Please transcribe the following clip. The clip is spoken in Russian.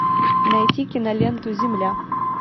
найти киноленту земля